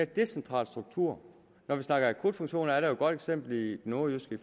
decentral struktur når vi snakker akutfunktioner er der et godt eksempel i det nordjyske i